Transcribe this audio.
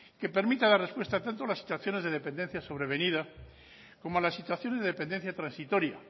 que permita dar respuesta tanto a las situaciones de dependencia sobrevenida como a las situaciones de dependencia transitoria